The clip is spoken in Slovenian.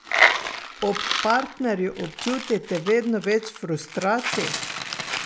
Ob partnerju občutite vedno več frustracij?